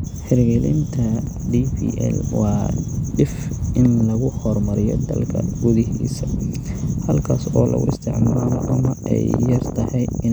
Hirgelinta DPL waa dhif in lagu horumariyo dalka gudihiisa halkaas oo lagu isticmaalo ama ay yar tahay inay leeyihiin jilayaasha waxbarashada dadwaynaha bilowgii.